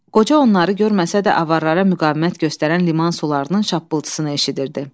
Qoca onları görməsə də, avarlara müqavimət göstərən limon sularının şappıltısını eşidirdi.